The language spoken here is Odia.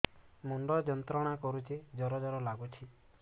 ମୁଣ୍ଡ ଯନ୍ତ୍ରଣା କରୁଛି ଜର ଜର ଲାଗୁଛି